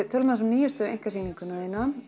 tölum aðeins um nýjustu einkasýninguna þína